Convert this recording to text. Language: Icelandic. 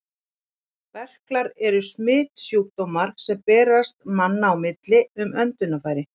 Berklar eru smitsjúkdómur, sem berst manna á milli um öndunarfæri.